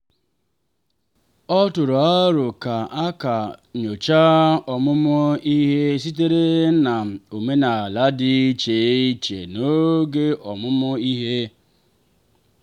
ọ tụrụ aro ka a ka a nyochaa ọmụmụ ihe sitere na omenala dị iche iche n'oge ọmụmụ ihe.